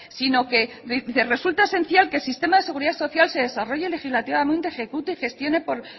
si no que resulta esencial que el sistema de seguridad social se desarrolle legislativamente ejecute gestione por